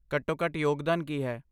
ਘੱਟੋ ਘੱਟ ਯੋਗਦਾਨ ਕੀ ਹੈ?